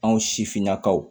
Anw sifinnakaw